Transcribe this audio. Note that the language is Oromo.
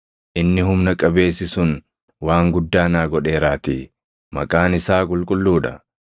Inni humna qabeessi sun // waan guddaa naa godheeraatii; maqaan isaa qulqulluu dha.